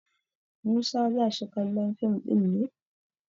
Musa za shi kallon fim ɗin ne?